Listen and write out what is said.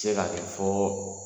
se ka kɛ fɔ